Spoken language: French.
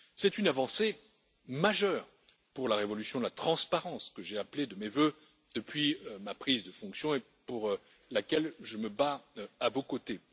C'est une avancée majeure pour la révolution de la transparence que j'ai appelée de mes vœux depuis ma prise de fonctions et pour laquelle je me bats à vos côtés.